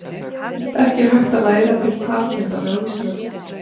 ekki er hægt að læra til talkennara á íslandi